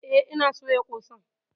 Eh ina soya ƙosan.